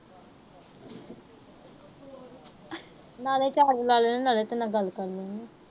ਨਾਲੇ charge ਲਾ ਲੱਣੀ ਆ। ਨਾਲੇ ਤੇਰੇ ਨਾਲ ਗੱਲ ਕਰ ਲੈਂਦੀ ਆ।